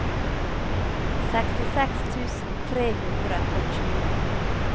sekstiseks tusen tre hundre og tjue